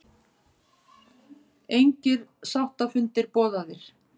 Engir sáttafundir boðaðir